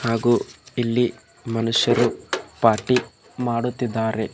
ಹಾಗೂ ಇಲ್ಲಿ ಮನುಷ್ಯರು ಪಾರ್ಟಿ ಮಾಡುತ್ತಿದ್ದಾರೆ.